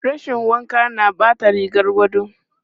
Rashin wanka na ɓata rigar gado.